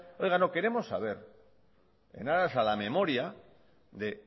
oiga no queremos saber en aras a la memoria de